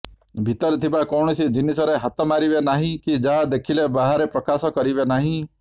ଭିତରେ ଥିବା କୌଣସି ଜିନିଷରେ ହାତ ମାରିବେ ନାହିଁ କି ଯାହା ଦେଖିଲେ ବାହାରେ ପ୍ରକାଶ କରିବେ ନାହିଁ